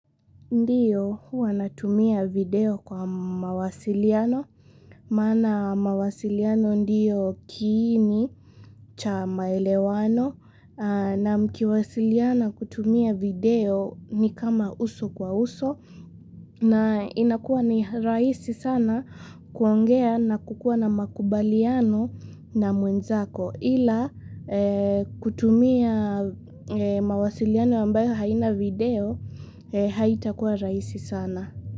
Ndiyo huwa natumia video kwa mawasiliano. Maana mawasiliano ndiyo kiini cha maelewano. Na mkiwasiliana kutumia video ni kama uso kwa uso. Na inakua ni rahisi sana kuongea na kukuwa na makubaliano na mwenzako. Ila kutumia mawasiliana ambayo haina video haitakuwa rahisi sana.